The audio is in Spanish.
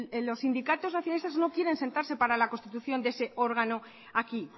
los sindicatos nacionalistas no quieren sentarse para la constitución de ese órgano aquí